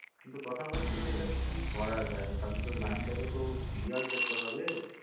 কিন্তু কথা হচ্ছে এটাকে কি করা যায় তার জন্য তো line তো clear করতে হবে